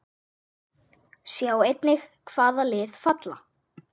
Sjá einnig: Hvaða lið falla?